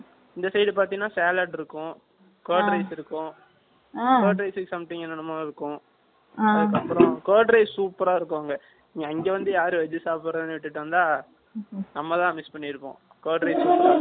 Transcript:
இந்த side பார்த்தீங்கன்னா, salad இருக்கும், curd rice இருக்கும். ஆங். Curd rice க்கு something என்னென்னமோ இருக்கும். ஆங். அதுக்கப்புறம், curd rice super ஆ இருக்கும் அங்க. அங்க வந்து யாரு Veg சாப்பிடுறதுன்னு விட்டுட்டு வந்தா, நம்மதான் miss பண்ணி இருப்போம்